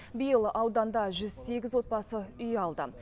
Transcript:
биыл ауданда жүз сегіз отбасы үй алды